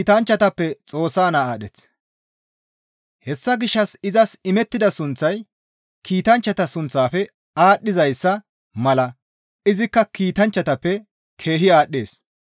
Hessa gishshas izas imettida sunththay kiitanchchata sunththaafe aadhdhizayssa mala izikka kiitanchchatappe keehi aadhdhees.